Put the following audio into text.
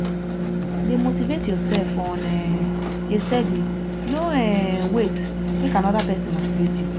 de motivate yourself on um a steady no um wait make another persin motivate you